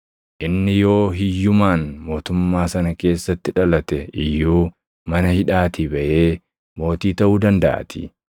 Inni yoo hiyyumaan mootummaa sana keessatti dhalate iyyuu mana hidhaatii baʼee mootii taʼuu dandaʼaatii.